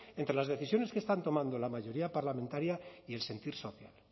entre las decisiones que están tomando la mayoría parlamentaria y el sentir social